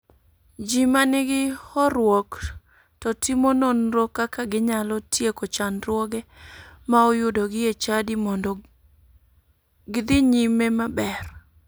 Ji manigi horruok to timo nonro kaka ginyalo tieko chandruoge ma oyudogi e chadi mondo godhi nyime maber.